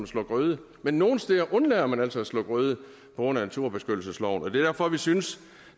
slå grøde men nogle steder undlader man altså at slå grøde på grund af naturbeskyttelsesloven og det er derfor vi synes